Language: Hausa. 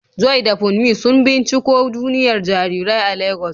Joy da Funmi sun binciko duniyar jarirai a Legas.